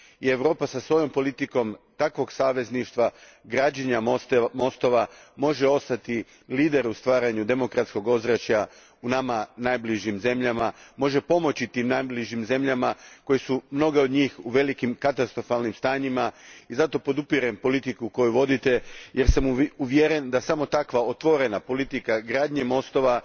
Europa sa svojom politikom takvog savezništva građenja mostova može ostati lider u stvaranju demokratskog ozračja u nama najbližim zemljama, može pomoći tim najbližim zemljama od kojih su mnoge u velikim katastrofalnim stanjima i zato podržavam politiku koju vodite jer sam uvjeren da samo takva otvorena politika gradnje mostova,